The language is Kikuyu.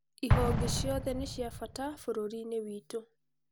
Ihonge ciothe nĩ cia bata bũrũriinĩ witũ.